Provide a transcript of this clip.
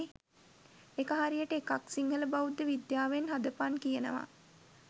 එක හරියට එකක් සිංහල බෞද්ධ විද්‍යාවෙන් හදපන් කියනවා